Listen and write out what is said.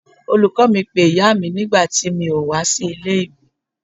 Olùkọ́ọ mi pé ìyáa mi nígbà tí mi ò wá sí ilé ìwé.